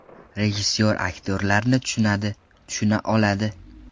Rejissor aktyorlarni tushunadi, tushuna oladi.